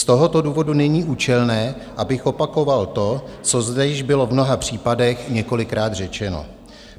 Z tohoto důvodu není účelné, abych opakoval to, co zde již bylo v mnoha případech několikrát řečeno.